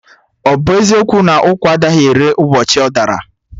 Ọ bụ eziokwu na ụkwa anaghị ere ụbọchị ọ dara?